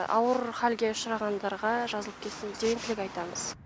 ауыр халге ұшырағандарға жазылып кетсін деген тілек айтамыз